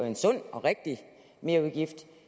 en sund og rigtig merudgift